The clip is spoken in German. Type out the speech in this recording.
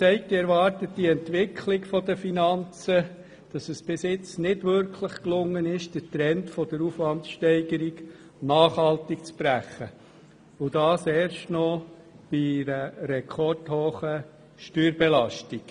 Die erwartete Entwicklung der Finanzen zeigt jedoch, dass es bis jetzt nicht wirklich gelungen ist, den Trend der Aufwandsteigerung nachhaltig zu brechen, und dies erst noch bei einer rekordhohen Steuerbelastung.